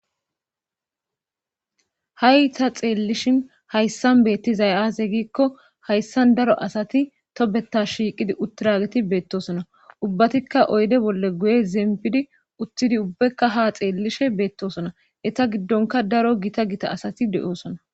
ha'i ta xeellishin hayssan beettizay azee giikko hayssan daro asati tobeta shiiqidi uttiragetti beettosona ubbatikka oydde bolle guye zeempidi uttidii ubbaykka ha xeellishe beettosona etta giddonka daro gita gita asati de'oosona